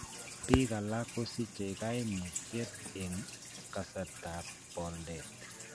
Biik alakkosiche kaimutyet eng' kaasrtab pooldet